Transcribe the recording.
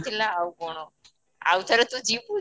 ଥିଲା ଆଉ କ'ଣ ଆଉଥରେ ତୁ ଯିବୁ